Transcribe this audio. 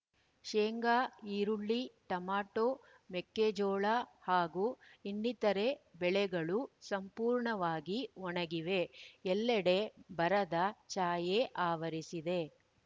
ಶೇಂಗಾ ಈರುಳ್ಳಿ ಟಮಟೋ ಮೆಕ್ಕೆಜೋಳ ಹಾಗೂ ಇನ್ನಿತರೆ ಬೆಳೆಗಳು ಸಂಪೂರ್ಣವಾಗಿ ಒಣಗಿವೆ ಎಲ್ಲೆಡೆ ಬರದ ಛಾಯೆ ಆವರಿಸಿದೆ